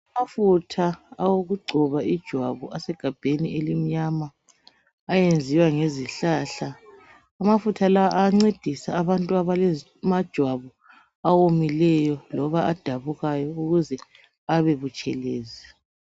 Amafutha awokugcoba ijwabu asegabheni elimnyama ayenziwa ngezihlahla. Amafutha la ayancedisa abantu abala majwabu awomileyo loba adabukayo ukuze abebutshelezi .